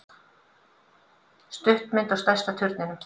Stuttmynd á stærsta turninum